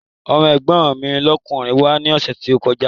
Ọmọ́ ẹ̀gbọ́n mi lọ́kùnrin wá ní ọ̀sẹ̀ tó kọjá